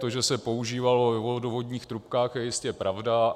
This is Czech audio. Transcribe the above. To, že se používalo ve vodovodních trubkách, je jistě pravda.